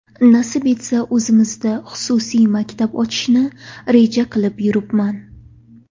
Nasib etsa, o‘zimizda xususiy maktab ochishni reja qilib yuribman.